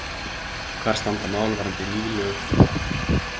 Hvar standa mál varðandi ný lög um bankann?